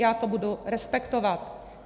Já to budu respektovat.